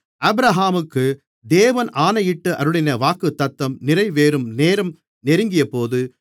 ஆபிரகாமுக்கு தேவன் ஆணையிட்டு அருளின வாக்குத்தத்தம் நிறைவேறும் நேரம் நெருங்கியபோது